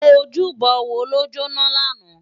Ójúbò wó ló jóná làná?